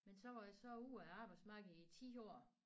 Men så var jeg så ude af arbejdsmarkedet i 10 år